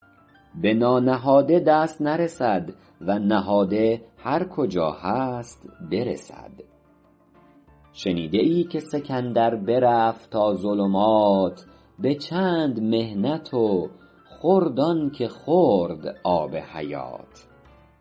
به نانهاده دست نرسد و نهاده هر کجا هست برسد شنیده ای که سکندر برفت تا ظلمات به چند محنت و خورد آن که خورد آب حیات